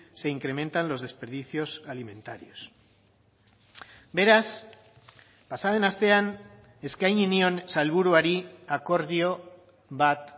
se incrementan los desperdicios alimentarios beraz pasa den astean eskaini nion sailburuari akordio bat